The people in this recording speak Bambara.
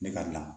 Ne ka